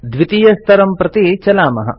द्वितीयस्तरं प्रति चलामः